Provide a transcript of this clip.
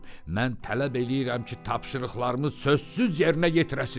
Mən tələb eləyirəm ki, tapşırıqımız sözsüz yerinə yetirəsiz.